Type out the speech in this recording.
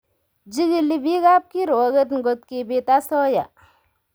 Jigili biikab kiruoget ngot kibiit asoya .